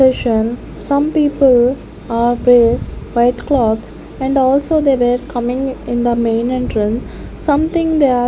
ation some people are wear white clothes and also they were coming in the main entran . something they are --